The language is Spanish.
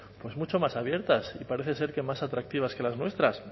pues mucho más abiertas y parece ser que más atractivas que las nuestras